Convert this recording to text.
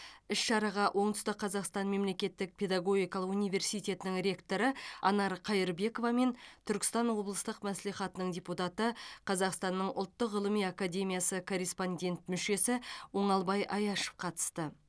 іс шараға оңтүстік қазақстан мемлекеттік педагогикалық университетінің ректоры анар қайырбекова мен түркістан облыстық мәслихатының депутаты қазақстанның ұлттық ғылыми академиясы корреспондент мүшесі оңалбай аяшев қатысты